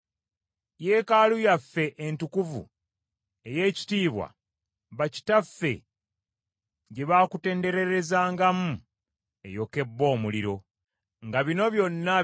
Yeekaalu yaffe entukuvu ey’ekitiibwa bakitaffe gye bakutendererezangamu eyokebbwa omuliro, era byonna eby’obugagga bye twakuumanga byazikirira.